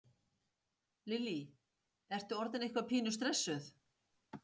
Lillý: Ertu orðin eitthvað pínu stressuð?